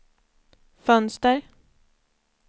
fönster